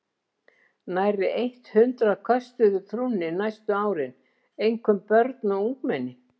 Nærri eitt hundrað köstuðu trúnni næstu árin, einkum börn og ungmenni.